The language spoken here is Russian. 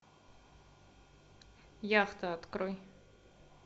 яхта открой